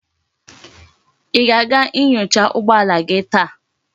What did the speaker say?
Í ga-aga inyocha ụgbọala gi taa?